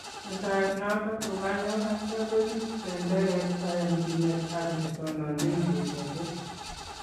Metoet noton kokanyoo atya kochuut bendereet kayanchinet ak netononchin kirwakeet